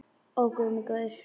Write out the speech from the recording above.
Ó guð minn góður.